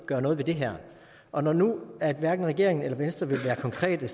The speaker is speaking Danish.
gøre noget ved det her og når nu hverken regeringen eller venstre vil være konkrete